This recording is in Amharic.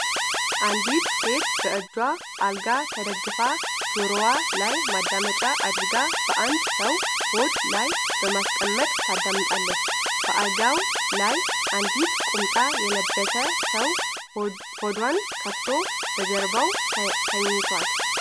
አንዲት ሴት በእጇ አልጋ ተደግፋ ጆሮዋ ላይ ማዳመጫ አድርጋ በአንድ ሰው ሆድ ላይ በማስቀመጥ ታዳምጣለች። በአልጋው ላይም አንድ ቁምጣ የለበሰ ሰው ሆዱን ከፍቶ በጀርባው ተኝቷል።